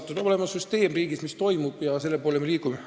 Riigis peab olema süsteem, mis toimib, ja selle poole me liigume.